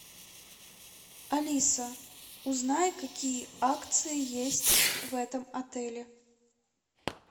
алиса узнай какие акции есть в этом отеле